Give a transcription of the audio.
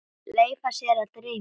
Leyfa sér að dreyma.